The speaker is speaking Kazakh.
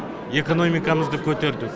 экономикамызды көтерді